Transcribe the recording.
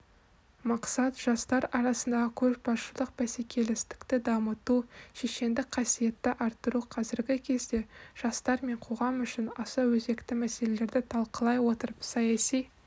мақсат жастар арасындағы көшбасшылық бәсекелестікті дамыту шешендік қасиетті арттыру қазіргі кезде жастар мен қоғам үшін аса өзекті мәселелерді талқылай отырып саяси